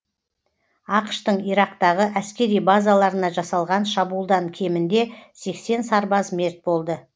ақш тың ирактағы әскери базаларына жасалған шабуылдан кемінде сексен сарбаз мерт болды